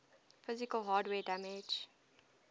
physical hardware damage